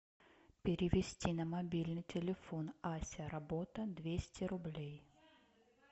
перевести на мобильный телефон ася работа двести рублей